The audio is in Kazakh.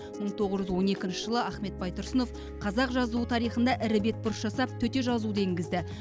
мың тоғыз жүз он екінші жылы ахмет байтұрсынов қазақ жазуы тарихында ірі бетбұрыс жасап төте жазуды енгізді